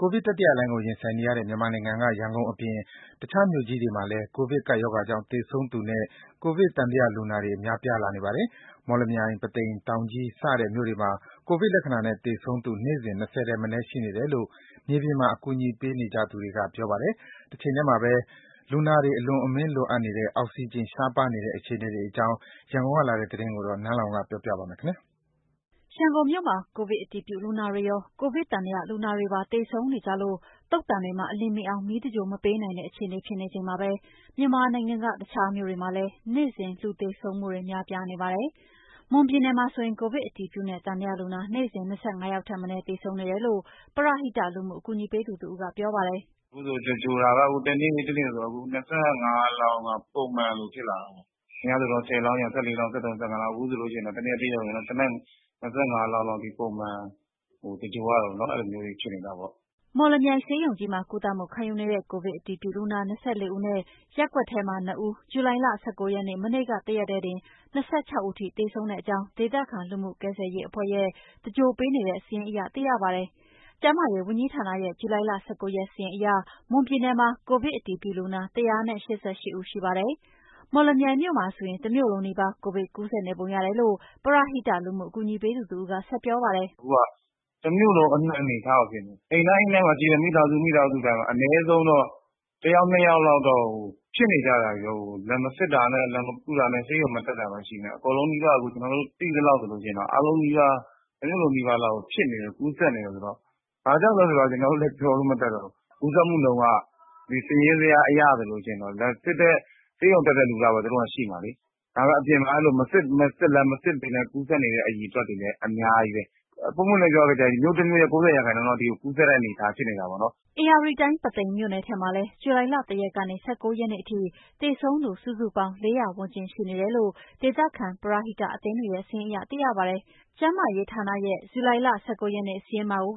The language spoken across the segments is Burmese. ိုဗစ်တတိယလှိုင်းကို ရင်ဆိုင်နေရတဲ့ မြန်မာနိုင်ငံက ရန်ကုန်အပြင် တခြားမြို့ကြီးတွေမှာလည်း ကိုဗစ်ကပ်ရောဂါကြောင့် သေဆုံးသူနဲ့ ကိုဗစ်သံသယလူနာတွေ များပြားနေပါတယ်။ မော်လမြိုင်၊ ပုသိမ်၊ တောင်ကြီးစတဲ့ မြို့တွေမှာ ကိုဗစ်လက္ခဏာနဲ့ သေဆုံးသူ နေ့စဉ် ၂၀ ထက်မနည်းရှိနေတယ်လို့ မြေပြင်မှာ အကူအညီပေးနေကြသူတွေက ပြောပါတယ်။ တချိန်ထဲမှာပဲ လူနာတွေအလွန်အမင်းလိုအပ်နေတဲ့ အောက်စီဂျင်ရှားပါးနေတဲ့ အခြေအနေတွေအကြောင်း ရန်ကုန်ကလာတဲ့သတင်း နန်းလောင်ဝ်ပြောပြပါမယ်။ ရန်ကုန်မြို့မှာ ကိုဗစ်အတည်ပြုလူနာတွေရော ကိုဗစ်သံသယလူနာတွေပါ သေဆုံးနေကြလို့ သုဿန်တွေမှာ အလျင်မမှီအောင် မီးသဂြိုလ်မပေးနိုင်တဲ့ အခြေအနေဖြစ်နေချိန်မှာပဲ မြန်မာနိုင်ငံက တခြားမြို့တွေမှာလည်း နေ့သူသေဆုံးသူတွေ များပြားနေပါတယ်။ မွန်ပြည်နယ်မှာဆိုရင် ကိုဗစ် အတည်ပြုနဲ့ သံသယလူနာ နေ့စဉ် ၂၅ ယောက်ထက်မနည်း သေဆုံးနေတယ်လို့ ပရဟိတလူမှုအကူအညီပေးသူတစ်ဦးက ပြောပါတယ်။ “အခုဆိုရင် သဂြိ ၤုလ်တာက တစ်နေ့နေ့ဆိုရင် အခု ၂၅ လောင်းက ပုံမှန်လိုဖြစ်လာတယ်ပေါ့ အရင်တုန်းကဆိုရင် ၁၀ လောင်းရယ် ၁၄ လောင်း၊ ၁၃၊ ၁၅ လောက် အခုဆိုလို့ရှိရင်တော့ တစ်နေ့တစ်ရက်တည်း ၂၅ လောင်းထိ ပုံမှန်သဂြိၤုလ်ရတယ်ပေါ့နော်။ အဲ့လိုမျိုးတွေ ဖြစ်နေတာပေါ့။” မော်လမြိုင်ဆေးရုံကြီးမှာ ကုသမှုခံယူနေတဲ့ ကိုဗစ်အတည်ပြုလူနာ ၂၄ ဦးနဲ့ ရပ်ကွက်ထဲမှာ ၂ ဦး ဇူလိုင် ၁၉ ရက် မနေ့က တစ်ရက်တည်းတင် ၂၆ ဦးအထိသေဆုံးတဲ့အကြောင်း ဒေသခံလူမှုကယ်ရေးအဖွဲ့ရဲ့ သြင်္ဂီုလ်ပေးခဲ့တဲ့ စာရင်းအရ သိရပါတယ်။ ကျန်းမာရေးဝန်ကြီးဌာနရဲ့ ဇူလိုင် ၁၉ ရက် စာရင်းအရ မွန်ပြည်နယ်မှာ ကိုဗစ်အတည်ပြုလူနာ ၁၈၈ ဦးရှိပါတယ်။ မော်လမြိုင်မြို့မှာဆိုရင် တစ်မြို့လုံးနီးပါး ကိုဗစ်ကူးစက်နေပုံရတယ်လို့ ပရဟိတလူမှုအကူအညီပေးသူတစ်ဦးက ဆက်ပြောပါတယ်။ “အခုက တစ်မြို့လုံးအနှံ့အခြေအနေကို ဖြစ်နေတာ အိမ်တိုင်းအိမ်တိုင်းမှာ ရှိတဲ့ မိသားစု၊ မိသားစုတိုင်းမှာ အနည်းဆုံးတော့ တစ်ယောက် နှစ်ယောက်လောက်တော့ ဖြစ်နေကြတာတွေ လာမစစ်တာနဲ့ လာမကုတာနဲ့ ဆေးရုံမတက်တာပဲရှိမယ် အကုန်လုံးနီးပါး အခု ကျနော်တို့သိသလောက်ဆိုလို့ရှိရင်တော့ အားလုံးနီးပါး တစ်မြို့လုံးနီးပါးလောက်ကို ဖြစ်နေတာ ကူးစက်နေတာဆိုတော့ ဘာကြောင့်လဲဆိုတော့ ကျနော်တို့လည်းပြောလို့မတတ်တော့ဘူး၊ ကူးစက်မှုနှုန်းက စာရင်းဇယားအရဆိုလို့ရှိရင် လာစစ်တဲ့ဆေးရုံတက်တဲ့လူလောက်ပဲ သူတို့မှာရှိမှာလေး၊ ဒါပေမယ့် အပြင်မှာမစစ်လည်းမစစ်ပေးနိုင် ကူးစက်နေကူးစက်နေတဲ့ အရေအတွက်တွေလည်း အများကြီးပဲ ပွင့်ပွင့်ပြောလို့ရှိရင် မြို့တစ်မြို့ရဲ့ ၉၀ ရာခိုင်နှုန်းလောက်အထိကူးစက်တဲ့ အနေအထားဖြစ်နေတာပေါ့နော်။” ဧရာဝတီတိုင်း ပုသိမ်မြို့နယ်ထဲမှာလည်း ဇူလိုင် ၁ ရက် ကနေ ၁၉ ရက်နေ့အထိ သေဆုံးသူ စုစုပေါင်း ၄၀၀ ဝန်းကျင်ရှိနေတယ်လို့ ဒေသခံပရဟိအသင်းတွေရဲ့ စာရင်းအရ သိရပါတယ်။ ကျန်းမာရေးဌာနရဲ့ ဇူလိုင် ၁၉ ရက်နေ့ကစာရင်းမှာကို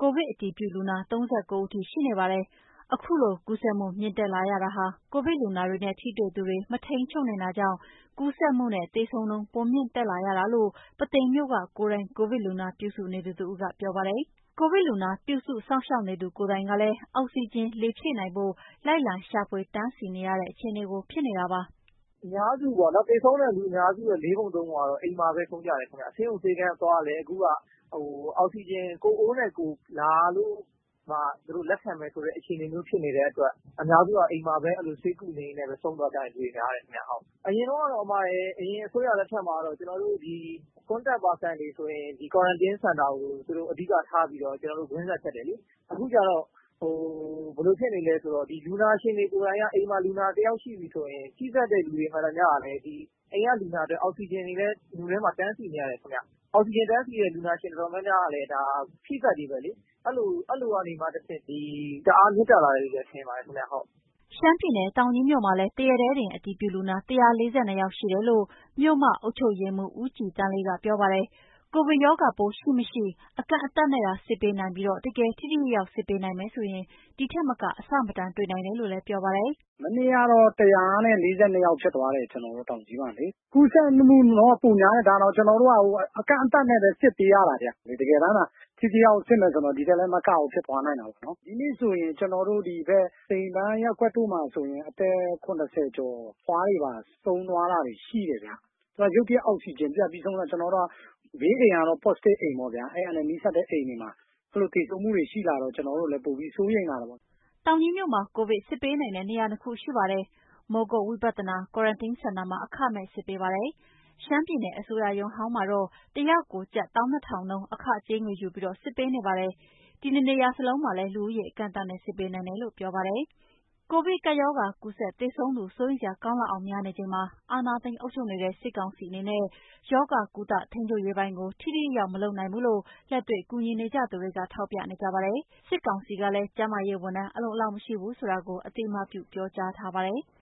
ကိုဗစ်အတည်ပြုလူနာ ၃၉ ဦးအထိ ရှိနေပါတယ်။ အခုလို ကူးစက်မှုမြင့်တက်လာရတာဟာ ကိုဗစ်လူနာတွေနဲ့ ထိတေ့ွသူတွေကို မထိန်းချုပ်နိုင်တာကြောင့် ကူးစက်မှုနဲ့ သေဆုံးနှုန်းပိုမြင့်တက်လာရတာလို့ ပုသိမ်မြို့က ကိုယ်တိုင်း ကိုဗစ်လူနာပြုစုနေသူ တစ်ဦးက ပြောပါတယ်။ ကိုဗစ်လူနာ ပြုစုစောင့်ရှာင်နေရသူကိုယ်တိုင်းက အောက်ဆီဂျင်လေဖြည့်နိုင်ဖို့ လိုက်လံရှာဖွေ တန်စီးနေရတဲ့ အခြေအနေဖြစ်နေတာပါ။ “အများစုပေ့ါနော်၊ သေဆုံးတဲ့လူအများစုရဲ့ လေးပုံ သုံးပုံကတော့ အိမ်မှာပဲ ဆုံးကြတယ်ခင်ဗျ၊ ဆေးရုံ၊ ဆေးခန်းသွားလည်း အခုက အောက်ဆီဂျင် ကိုယ့်အိုးနဲ့ ကိုယ်လာလို့မှ သူတို့လက်ခံမယ်အခြေအနေမျိုးဖြစ်နေတဲ့အတွက် အများစုက အိမ်မှာပဲ အဲ့လိုဆေးကုနေရင်းနဲ့ပဲ ဆုံးသွားကြတဲ့ လူတွေများတယ်ခင်ဗျ ဟုတ်။ အရင်တုန်းကတော့ အရင်အစိုးရလက်ထက်မှာ ကျနော်တို့ ဒီ contact person တွေ ဆိုရင် ဒီ quarantine center ကို သူတို့အဓိကထားပြီးတော့ ကျနော်တို့ ကွင်းဆက်ဖြတ်တယ်လေး၊ အခုကျတော့ ဟို…ဘယ်လိုဖြစ်နေလဲဆိုတော့ ဒီလူနာရှင်းတွေကိုယ်တိုင်းက အိမ်မှာလူနာတစ်ယောက်ရှိပြီးဆိုရင် ထိစပ်တဲ့လူတွေမှန်သမျှကလည်း အိမ်က လူနာအတွက်အောက်ဆီဂျင်တွေလည်း မြို့ထဲမှာ တန်စီးနေရတယ်ခင်ဗျ၊ အောက်ဆီဂျင်တန်စီးနေတဲ့ လူနာရှင်တော်တော်များများကလည်း ဒါထိစပ်တွေပဲလေး၊ အဲ့လိုကနေမှ တဆင့်တအား မြင့်တက်လာတယ်လို့ပဲ ထင်ပါတယ်ခင်ဗျ။” ရှမ်းပြည်နယ်၊ တောင်ကြီးမြို့နယ်မှာလည်း တစ်ရက်တည်း အတည်ပြုလူနာ ၁၄၂ ယောက်ရှိတယ်လို့ မြို့မ အုပ်ချုပ်ရေးမှူး ဦးကြည်သန်းလေးက ပြောပါတယ်။ ကိုဗစ်ရောဂါပိုး ရှိ မရှိ အကန့်အသတ်နဲ့သာ စစ်ပေးနိုင်ပြီးတကယ် ထိထိရောက်ရောက် စစ်ပေးနိုင်မယ်ဆိုရင် ဒီထက်မက အဆမတန် တွေ့နိုင်တယ်လို့ ပြောပါတယ်။ “မနေ့ကတော့ ၁၀၀ နဲ့ ၄၂ ယောက်ဖြစ်သွားတယ် ကျနော်တို့ တောင်ကြီးမှာလေး၊ ကူးစက်မှုနှုန်းက ပိုများတယ် ဒါတောင် ကျနော်တို့က အကန့်အသတ်နဲ့ပဲ စစ်ပေးရတယ်ဗျ၊ တကယ်တန်တာ ထိထိရောက်ရောက်စစ်မယ်ဆိုတော့ ဒီထက်လည်းမကဘူး ဖြစ်သွားနိုင်တယ်ပေါ့နော်၊ ဒီနေ့ဆိုရင် ကျနော်တို့ ဒီဘက်စိန်ပန်းရပ်ကွက်တို့မှာဆိုရင် အသက် ၇၀ ကျော် အဖွားတွေပါ ဆုံးသွားတာတွေရှိတယ်ဗျာ၊ ရုတ်တရက် အောက်ဆီဂျင်ပြတ်သေဆုံးတာကျနော်တို့ဘေးအိမ်ကတော့ positive အိမ်ပေါ့ဗျာ အဲ့ဟာနဲ့ နီးစပ်တဲ့ အိမ်တွေမှာ အဲ့လိုသေဆုံးမှုတွေ ရှိလာတော့ ကျနော်တို့လည်းပိုပြီးစိုးရိမ်တာပေါ့။” တောင်ကြီးမြို့မှာ ကိုဗစ်စစ်ပေးနိုင်တဲ့နေရာ နှစ်ခုရှိပါတယ် မိုးကုတ်ဝိပတ်သနာ quarantine center မှာ အခမဲ့ စစ်ပေးပါတယ်။ ရှမ်းပြည်နယ်အစိုးရရုံး ဟောင်းမှာတော့ တယောက်ကို ကျပ် ၁၂,၀၀၀ နှုန်း အခကြေးငွေယူပြီး စစ်ပေးနေပါတယ်။ ဒီနှစ်နေရာစလုံးမှာ လူဦးရေး အကန့်အသတ်နဲ့ စစ်ပေးနိုင်တယ်လို့ ပြောပါတယ်။ ကိုဗစ်ကပ်ရောဂါ ကူးစက်သေဆုံးသူ စိုးရိမ်စရာကောင်းလောက်အောင် များနေချိန်မှာ အာဏာသိမ်းအုပ်ချုပ်နေတဲ့ စစ်ကောင်စီအနေနဲ့ ရောဂါ ကုသ ထိန်းချုပ်ရေးပိုင်းကို ထိထိရောက်ရောက် မလုပ်နိုင်ဘူးလို့ လက်တွေ့ကူညီနေကြသူတွေက ထောက်ပြနေကြပါတယ်။ စစ်ကောင်စီကလည်း ကျန်းမာရေးဝန်ထမ်း အလုံအလောက်မရှိဘူးဆိုတာကို အသိအမှတ်ပြု ပြောကြားထားပါတယ်။